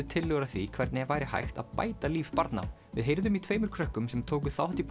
tillögur að því hvernig væri hægt að bæta líf barna við heyrðum í tveimur krökkum sem tóku þátt í